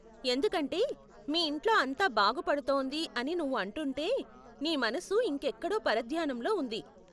ఎందుకంటే, మీ ఇంట్లో అంతా బాగుపడుతోంది అని నువ్వు అంటుంటే , నీ మనసు ఇంకెక్కడో పరధ్యానంలో ఉంది.